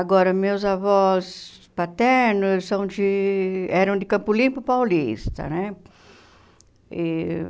Agora, meus avós paternos são de eram de Campo Limpo Paulista, né? E